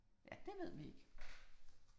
Ja, det ved vi ikke